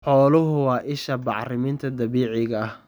Xooluhu waa isha bacriminta dabiiciga ah.